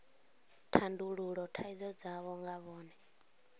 tandulula thaidzo dzavho nga vhone